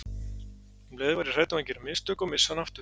Um leið var ég hrædd um að gera mistök og missa hana aftur.